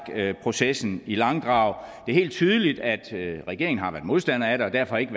processen i langdrag er helt tydeligt at regeringen har været modstander af det og derfor ikke